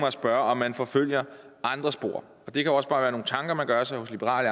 at spørge om man forfølger andre spor og det kan også bare være nogle tanker man gør sig hos liberal